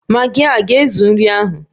Magi a ga-ezuru nri ahụ?